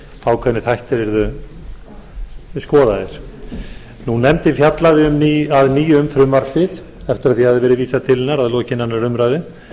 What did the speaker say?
ákveðnir þættir yrðu skoðaðir nefndin fjallaði að nýju um frumvarpið eftir að því hafði verið vísað til hennar að lokinni annarri umræðu